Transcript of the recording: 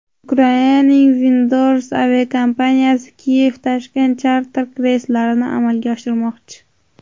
Ukrainaning Windrose aviakompaniyasi Kiyev–Toshkent charter reyslarini amalga oshirmoqchi.